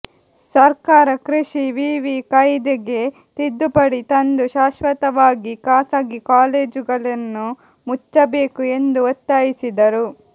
ಸರ್ಕಾರ ಕೃಷಿ ವಿವಿ ಕಾಯ್ದೆಗೆ ತಿದ್ದುಪಡಿ ತಂದು ಶಾಶ್ವತವಾಗಿ ಖಾಸಗಿ ಕಾಲೇಜುಗಳನ್ನು ಮುಚ್ಚಬೇಕು ಎಂದು ಒತ್ತಾಯಿಸಿದರು